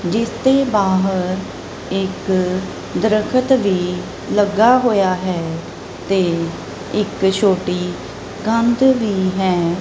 ਜਿਸ ਦੇ ਬਾਹਰ ਇੱਕ ਦਰਖ਼ਤ ਵੀ ਲੱਗਾ ਹੋਇਆ ਹੈ ਤੇ ਇੱਕ ਛੋਟੀ ਕੰਧ ਵੀ ਹੈ।